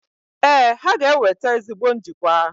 Ee, ha ga-eweta ezigbo njikwa.